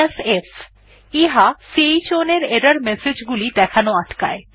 f chown এর error message গুলি দেখানো আটকায়